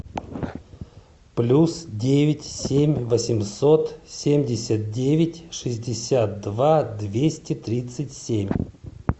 плюс девять семь восемьсот семьдесят девять шестьдесят два двести тридцать семь